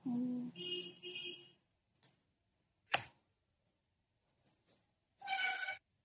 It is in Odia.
noise